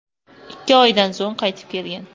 Ikki oydan so‘ng qaytib kelgan.